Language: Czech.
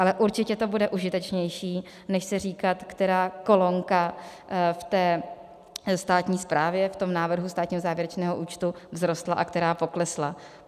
Ale určitě to bude užitečnější než si říkat, která kolonka v té státní zprávě, v tom návrhu státního závěrečného účtu, vzrostla a která poklesla.